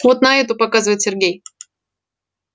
вот на эту показывает сергей